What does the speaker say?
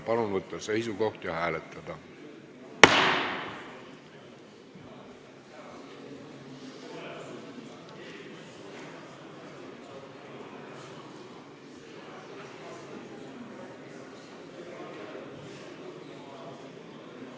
Palun võtta seisukoht ja hääletada!